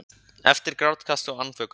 Eftir grátkast og andvökunótt.